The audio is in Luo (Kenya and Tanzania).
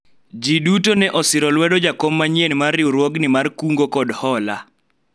jii duto ne osiro lwedo jakom manyien mar riwruogni mar kungo kod hola